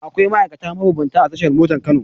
Akwai ma'aikata mabambanta a tashar motan Kano.